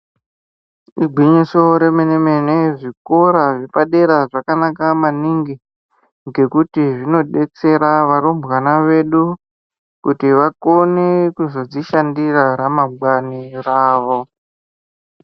Igwinyiso remene-mene zvikora zvepadera zvakanaka maningi ngekuti zvinobetsera varumbwana vedu. Kuti vakone kuzodzishandira ramangwani ravo.